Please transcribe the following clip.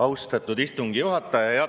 Austatud istungi juhataja!